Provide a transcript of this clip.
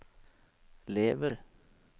lever